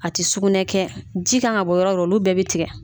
A tɛ sugunɛ kɛ ji ka ka bɔ yɔrɔ o yɔrɔ olu bɛɛ bɛ tigɛ